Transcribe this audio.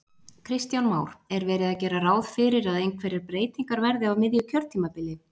Kristján Már: Er verið að gera ráð fyrir að einhverjar breytingar verði á miðju kjörtímabili?